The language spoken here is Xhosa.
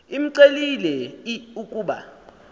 imcelile l ukuba